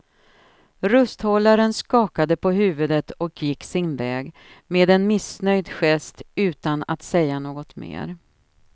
Rusthållaren skakade på huvudet och gick sin väg med en missnöjd gest utan att säga något mer.